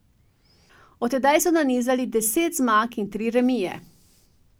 Od tedaj so nanizali deset zmag in tri remije.